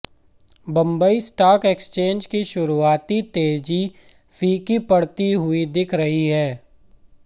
Bombay stock exchange की शुरुआती तेजी फीकी पड़ती हुई दिख रही है